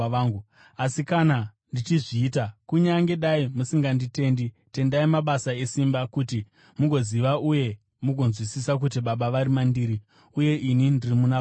Asi kana ndichizviita, kunyange dai musinganditendi, tendai mabasa esimba, kuti mugoziva uye mugonzwisisa kuti Baba vari mandiri, uye ini ndiri muna Baba.”